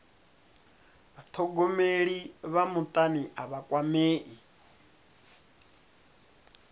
vhathogomeli vha mutani a vha kwamei